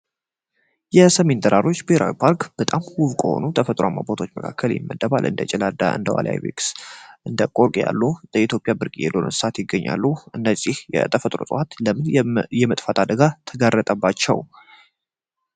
የሰሜን ተራሮች ብሄራዊ ፓርክ በጣም ውብ ከሆኑ ተፈጥሯአማ ቦታዎች መካከል ይመደባል። እንደ ጭላዳ፣ ዋልታ አይቤክስ እንደ ቆቅ ያሉ የኢትዮጵያ ብርቅዬ እንስሳት ይገኛሉ። እነዚህ የተፈጥሮ እፅዋት የተፈጥሮ አደጋ ተጋረጠባቸው።